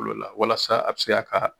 walasa a bɛ se a ka